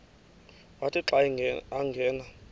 wathi xa angena